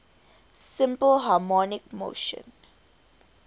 simple harmonic motion